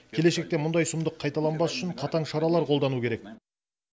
келешекте мұндай сұмдық қайталанбас үшін қатаң шаралар қолдану керек